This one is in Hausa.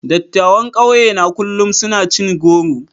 Dattawan kauye na kullum suna cin goro.